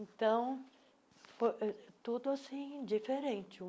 Então, fo ãh tudo assim, diferente.